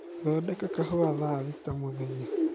thondeka kahũa thaa thĩta mũthenya